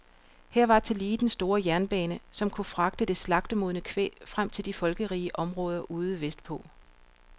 Her var tillige den store jernbane, der kunne fragte det slagtemodne kvæg frem til de folkerige områder ude vestpå.